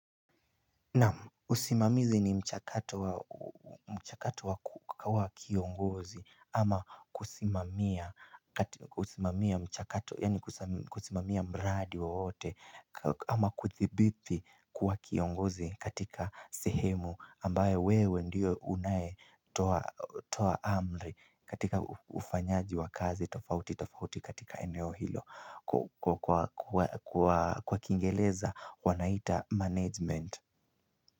Naam usimamizi ni mchakato wa kiongozi ama kusimamia mchakato yaani kusimamia mradi wowote ama kuthibiti kuwa kiongozi katika sehemu ambayo wewe ndie unae toa amri katika ufanyaji wa kazi tofauti tofauti katika eneo hilo kwa kingereza wanaita management.